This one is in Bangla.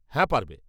-হ্যাঁ পারবে।